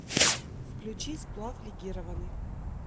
включи сплав легированный